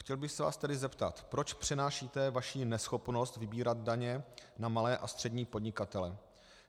Chtěl bych se vás tedy zeptat: Proč přenášíte vaši neschopnost vybírat daně na malé a střední podnikatele?